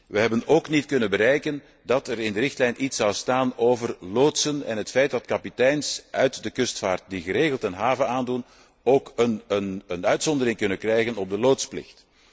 We hebben evenmin kunnen bereiken dat er in de richtlijn iets zal staan over loodsen en het feit dat kapiteins uit de kustvaart die geregeld een haven aandoen, ook een ontheffing kunnen krijgen van de loodsplicht.